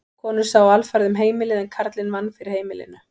Konur sáu alfarið um heimilið en karlinn vann fyrir heimilinu.